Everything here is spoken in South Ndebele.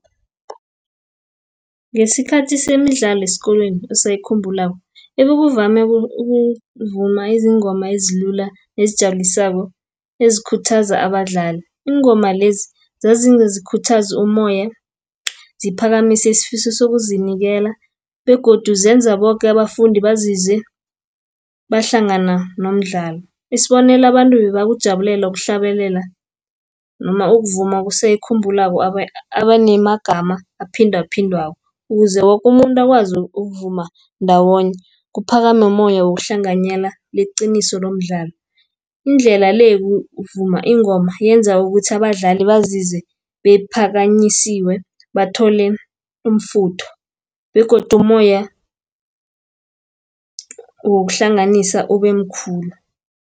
Ngesikhathi semidlalo esikolweni osayikhulako ibekuvame ukuvuma izingoma ezilula nezijabulisako, ezikhuthaza abadlali. Iingoma lezi, zazingezi khuthazu umoya, ziphakamise isifiso zokuzinikela, begodu zenza boke abafundi bazizwe bahlangana nomdlalo. Isibonelo abantu bebakujabulela ukuhlabelela noma ukuvuma kuse ayikhumbulako abanemagama aphindaphindwako ukuze woke umuntu akwazi ukuvuma ndawonye, kuphakame umoya wokuhlanganyela leqiniso lomdlalo. Indlela le, ukuvuma ingoma yenza ukuthi abadlali bazizwe bemphakanyisiwe bathole umfutho, begodu umoya wokuhlanganisa ubemkhulu.